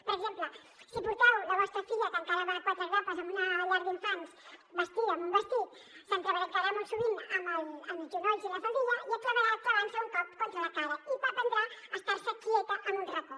per exemple si porteu la vostra filla que encara va de quatre grapes en una llar d’infants vestida amb un vestit s’entrebancarà molt sovint amb els genolls i la faldilla i acabarà clavant se un cop contra la cara i aprendrà a estar se quieta en un racó